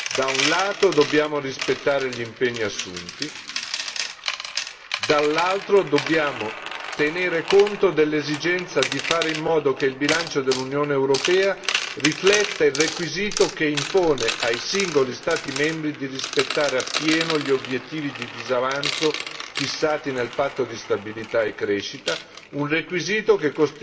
Da un lato, dobbiamo rispettare gli impegni assunti, dall'altro dobbiamo tenere conto dell'esigenza di fare in modo che il bilancio dell'Unione europea rifletta il requisito che impone ai singoli Stati membri di rispettare appieno gli obiettivi di disavanzo fissati nel Patto di stabilità e crescita, un requisito che